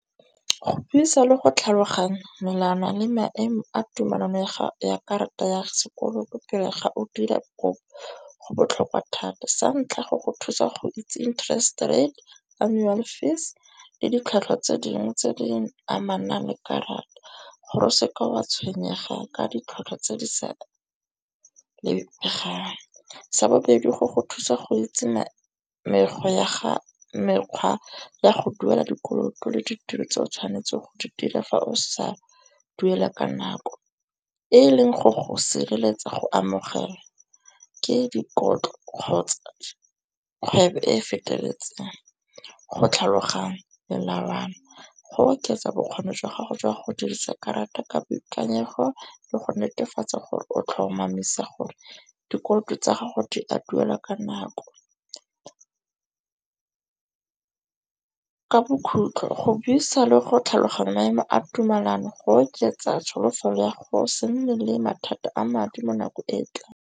Go buisa le go tlhaloganya melwana le maemo a tumelano ya karata ya sekoloto pele ga o dira kopo go botlhokwa thata. Sa ntlha go go thusa go itsi interest rate, annual fees le ditlhwatlhwa tse dingwe tse di amanang le karata gore o seke wa tshwenyega ka ditlhwatlhwa tse di sa . Sa bobedi go go thusa go itsi mekgwa ya go duela dikoloto le ditiro tse o tshwanetse o di dire fa o sa duela ka nako. E leng gore o sireletsa go amogela ke dikotlo kgotsa kgwebo e feteletseng. Go tlhaloganya melawana, go oketsa bokgoni jwa gago jwa go dirisa karata ka boikanyego le go netefatsa gore o tlhomamisa gore dikoloto tsa gago di a duelwa ka nako. Ka bokhutlo go buisa le go tlhaloganya maemo a tumelano go oketsa tsholofelo ya go se nne le mathata a madi mo nakong e tlang.